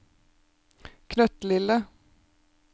knøttlille